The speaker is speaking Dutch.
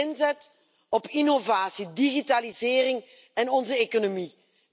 Die inzet op innovatie, digitalisering en onze economie.